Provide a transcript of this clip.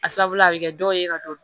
A sabula a bɛ kɛ dɔw ye ka dɔ